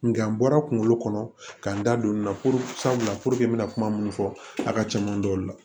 Nga n bɔra kunkolo kɔnɔ ka n da don nin na sabula n mɛna kuma munnu fɔ a ka cɛn n da u la